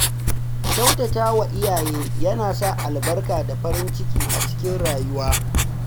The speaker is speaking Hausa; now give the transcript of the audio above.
Kyautatawa ga iyaye yana sa albarka da farin ciki a rayuwa.